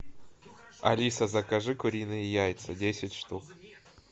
алиса закажи куриные яйца десять штук